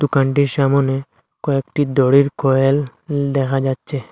দোকানটির সামোনে কয়েকটি দড়ির কয়েল দেখা যাচ্ছে।